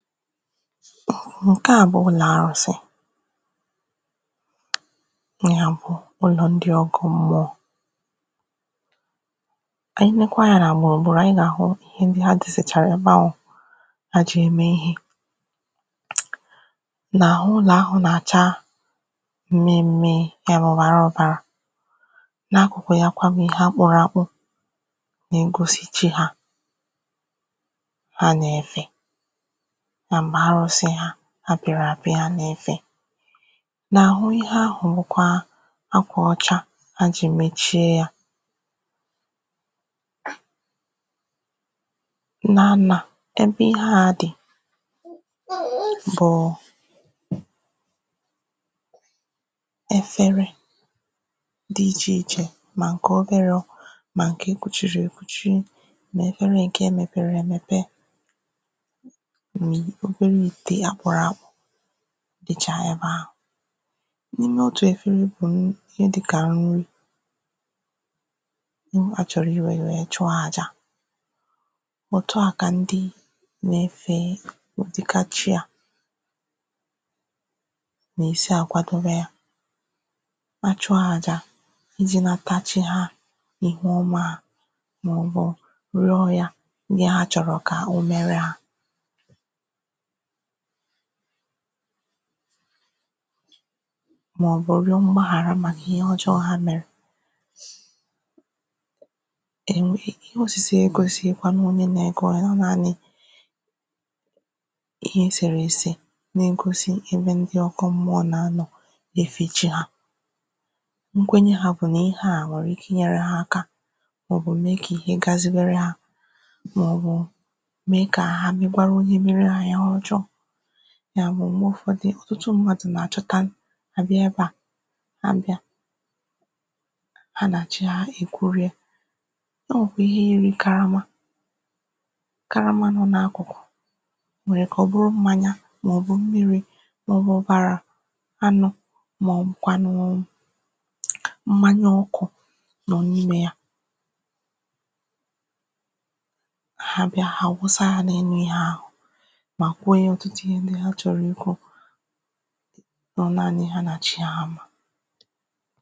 ǹke a bụ̀ ụlọ̀ arụ̄sị nà àbụ̀ ụlọ̀ ndị ọkụ m̀mụọ ànyị leekwa anyā nà gbùrùgburù ànyị nà-àhụ ihe ndị hà dòsàchàrà ebe ahụ̀ ha jì ème ihē nà àhụ ụlọ̀ ahụ̄ nà-àcha mmi mmi yà bụ̀ ọ̀bara ọ̀bàra n’akụ̀kụ̀ ya kwa bụ̀ ihe akpọ̀rọ̀ àkpọ na-egosi chi hā ha nà-efè nà m̀gbè arụ̄sị ha apị̀rị̀ àpị ha nà-efè n’àhụ ihe ahụ̀ wukwa akwà ọcha ha jì mechie ya eee nnà nnà ebe ihe a dì ebe ihe a dì efere di ichè ichè mà ǹkè oberē mà ǹkè ekwùchìrì èkwùchi mà efere ǹke mepere èmèpe ma obere ìtè ya kwa dìchà ha ebe ahụ̀ n’ime otù efere ikwè wu ihe dịkà nri ịhụ achọ̀rọ̀ I wère ya chụ̀ọ àjà òtu a kà ndị na-efè fee ụ̀dịka chi à nà-èsi àkwadoba achụ̀ọ àjà izē na mkpachị hā ihu ọma ihu ọma rụ̀ọ ya ihe ha chọ̀rọ̀ kà o mere hā màọbụ̀ rụ̀ọ mgbaghàra n’he ọ̀jọọ ha mèrè e nwee ihe òsìse a egōsighikwa onye na-egwe ha naanị̄ ihe esèrè èsè na-egosi ebe ndị ọkụ m̀mụọ nà-anọ̀ na-efè chi hā nkwenye hā bụ̀ nà ihe a nwèrè ike inyēre ha aka màọbụ̀ mee kà ihe gazị̇berer hā màọbụ̀ mee kà ha megwara onye mere hā ihe ọjọọ màọbụ m̀gbe ụ̀fọdụ out̄ mmadụ nà-àchọta àbịa ebe a ha bịa ha nà chi hā èkwụrịa o nwèkwà ihe yiri karama karama nọ n’akụ̀kụ̀ ọ̀ nwèrè ike ọ̀ bụrụ mmānya màọbụ̀ mmịrị̄ màọbụ̀ ọ̀bàrà anụ màọbụ̀kwànụ̀ mmānya ọkụ̄ nọ̀ n’imē ya ha bịa hà àwụsa ha n’enu ihe ahụ̀ mà kwue ọ̀tụtụ ihe ndị ha chọ̀rọ̀ ikwū ọ naanị̄ ha nà chi ha mà